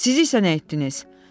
Siz isə nə etdiniz?